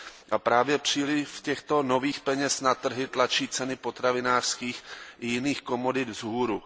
A právě příliv těchto nových peněz na trhy tlačí ceny potravinářských a jiných komodit vzhůru.